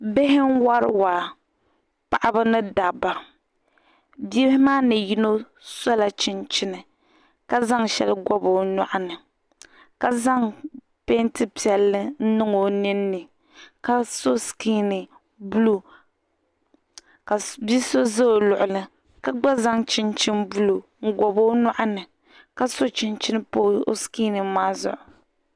Bihi n wari waa paɣaba ni dabba bihi maa ni yino sola chinchini ka zaŋ shɛli gobo o nyuɣini ka zaŋ peenti piɛlli n niŋ o ninni ka so sikini buluu ka bia so ʒɛ o luɣuli ka gba zaŋ chinchin buluu n gobi o nyoɣini ka gba so chinchin pa o sikini maa zuɣu